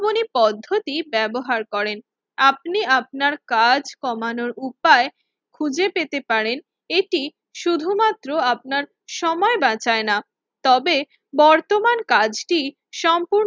বনি পদ্ধতি ব্যবহার করেন। আপনি আপনার কাজ কমানোর উপায় খুঁজে পেতে পারেন, এটি শুধুমাত্র আপনার সময় বাঁচায় না তবে বর্তমান কাজটি সম্পূর্ণ